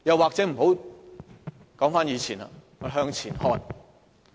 或者不說以前，我們向前看。